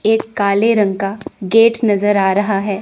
एक काले रंग का गेट नजर आ रहा है।